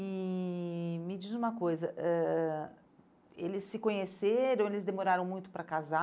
E me diz uma coisa, ãh eles se conheceram, eles demoraram muito para casar?